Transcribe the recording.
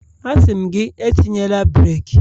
A sị m gị, etinyela breeki